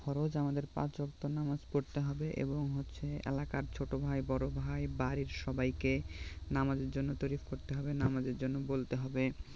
ফরজ আমাদের পাঁচ ওয়াক্ত নামাজ পড়তে হবে এবং হচ্ছে এলাকার ছোট ভাই বড় ভাই বাড়ির সবাইকে নামাজের জন্য তৈরী করতে হবে নামাজের জন্য বলতে হবে